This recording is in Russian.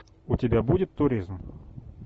у тебя будет туризм